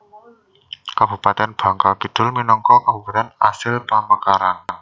Kabupatèn Bangka Kidul minangka Kabupatèn asil pamekaran